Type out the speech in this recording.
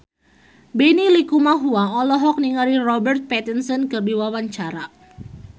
Benny Likumahua olohok ningali Robert Pattinson keur diwawancara